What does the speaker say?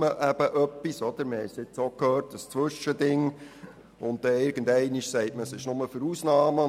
Es wird eine Art Zwischending vorgeschlagen, und man sagt, es gelte nur für Ausnahmen.